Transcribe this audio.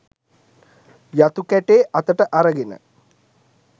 යතු කැටේ අතට අරගෙන